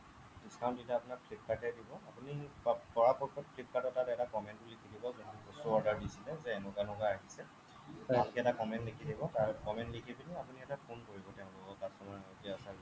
discount দিলে আপোনাক flipkart এ দিব আপুনি পৰা পক্ষত flipkart ৰ তাত এটা comment লিখি দিব যে বস্তু order দিছিলে যে এনেকুৱা এনেকুৱা আহিছে ভালকে এটা comment লিখি দিব comment লিখি দিব আপুনি এটা phone কৰিব তেওঁলোকক আপোনাৰ সৈতে